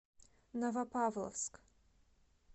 новопавловск